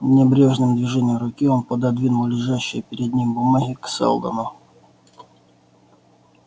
небрежным движением руки он пододвинул лежащие перед ним бумаги к сэлдону